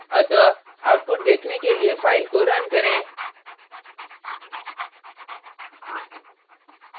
अतः output देखने के लिए file को रन करें